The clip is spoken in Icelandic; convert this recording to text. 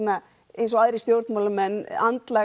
eins og aðrir stjórnmálamenn